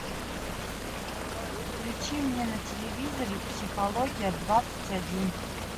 включи мне на телевизоре психология двадцать один